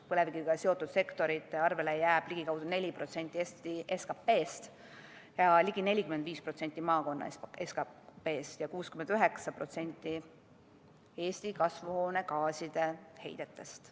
Põlevkiviga seotud sektorite arvele jääb ligikaudu 4% Eesti SKP-st ja ligikaudu 45% maakonna SKP-st ja 69% Eesti kasvuhoonegaaside heitest.